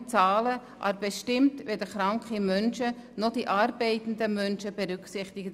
Es wurden nur Zahlen bestimmt, aber weder die kranken noch die arbeitenden Menschen berücksichtigt.